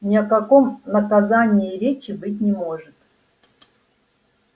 ни о каком наказании и речи быть не может